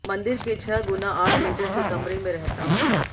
मंदिर के छह गुणा आठ मीटर के कमरे में रहता हूं